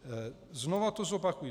Znovu to zopakuji.